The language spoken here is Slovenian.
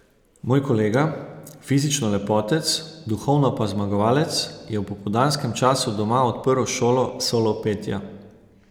Moj kolega, fizično lepotec, duhovno pa zmagovalec, je v popoldanskem času doma odprl šolo solo petja.